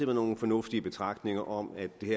nogle fornuftige betragtninger om at vi